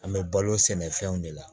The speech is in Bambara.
An bɛ balo sɛnɛfɛnw de la